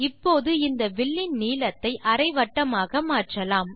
இப்போது இந்த வில்லின் நீளத்தை அரை வட்டமாக்க மாற்றலாம்